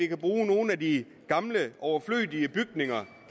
kan bruge nogle af de gamle overflødige bygninger